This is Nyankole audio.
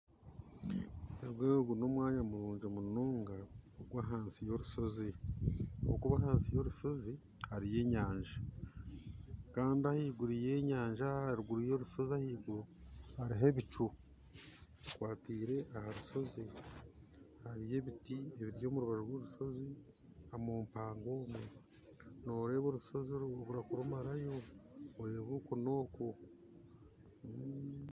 Ogo n'omwanya murungi munonga gw'aha yorushozi okwo ahansi yorushozi hariyo enyaja ahaiguru y'orusyozi ahaiguru hariho ebicucu bishwekire orushozi kandi hariyo ebitii biri omu rubaju rw'orushozi omumpangowe nooreeba omu rushozi kurumarayo oreeba oku n'oku